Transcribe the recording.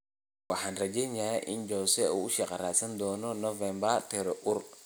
Waxaan rajeynayaa in Jose uu shaqo raadsan doono November', Terreur.